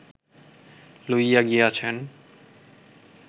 লইয়া গিয়াছেন